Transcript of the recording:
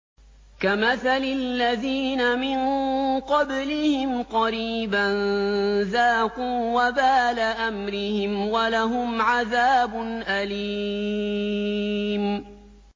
كَمَثَلِ الَّذِينَ مِن قَبْلِهِمْ قَرِيبًا ۖ ذَاقُوا وَبَالَ أَمْرِهِمْ وَلَهُمْ عَذَابٌ أَلِيمٌ